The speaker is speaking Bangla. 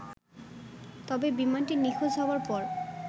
তবে বিমানটি নিখোঁজ হবার পর